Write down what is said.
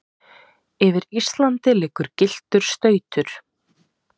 yfir Íslandi liggur gylltur stautur.